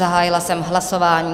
Zahájila jsem hlasování.